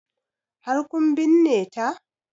Har kun binne ta?